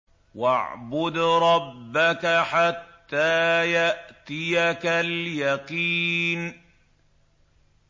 وَاعْبُدْ رَبَّكَ حَتَّىٰ يَأْتِيَكَ الْيَقِينُ